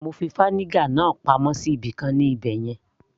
mo fi vinegar náà pamọ́ sí ibìkan ní ibẹ̀yẹn